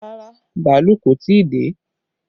Rárá, bàálù kò tí ì dé